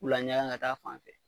K'u laɲanga ka t'a fan fɛ